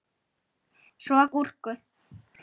Svo gúrku.